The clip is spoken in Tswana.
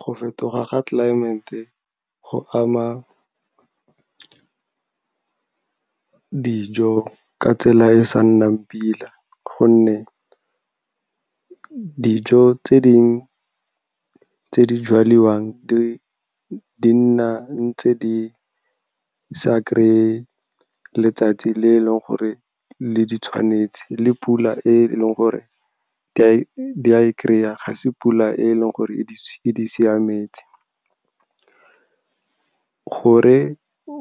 Go fetoga ga tlelaemete go ama dijo ka tsela e e sa nnang pila, gonne dijo tse di jalwang di nna ntse di sa kry-e letsatsi le e leng gore le di tshwanetse, le pula e leng gore dia e kry-a, ga se pula e leng gore e di siametse. Gore